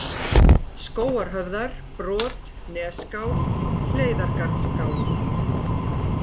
Skógarhöfðar, Brot, Nesskál, Hleiðargarðsskál